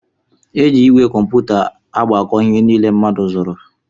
Eji igwe kómputa agbako ihe niile mmadụ zụrụ.